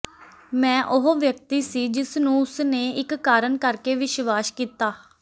ਮੈਂ ਉਹ ਵਿਅਕਤੀ ਸੀ ਜਿਸਨੂੰ ਉਸਨੇ ਇੱਕ ਕਾਰਨ ਕਰਕੇ ਵਿਸ਼ਵਾਸ ਕੀਤਾ